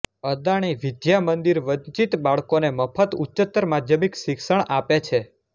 અદાણી વિદ્યા મંદિર વંચિત બાળકોને મફત ઉચ્ચતર માધ્યમિક શિક્ષણ આપે છે